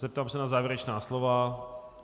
Zeptám se na závěrečná slova.